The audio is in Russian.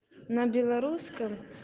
на белорусском